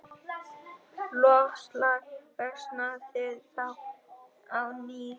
Loftslag versnaði þá á ný.